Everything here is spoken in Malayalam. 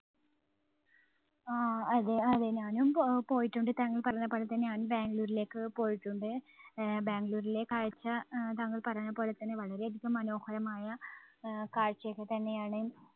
ആ അതെ അതെ ഞാനും പോ~പോയിട്ടുണ്ട്. താങ്കൾ പറഞ്ഞപോലെ തന്നെ ബാംഗ്ലൂരിലേക്ക് പോയിട്ടുണ്ട്. ആഹ് ബാംഗ്ലൂരിലെ കാഴ്ച അഹ് താങ്കൾ പറഞ്ഞപോലെ തന്നെ വളരെയധികം മനോഹരമായ ആഹ് കാഴ്ച ഒക്കെ തന്നെയാണ്.